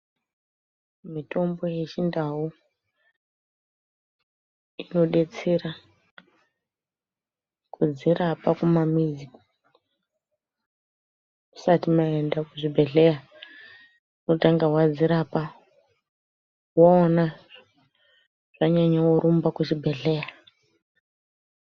Mitombo ye chindau ino detsera kudzi rapa ku mamizi musati maenda ku zvibhedhleya unotanga wadzirapa waona zvanyanya worumba ku zvibhedhleya.